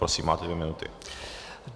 Prosím, máte dvě minuty.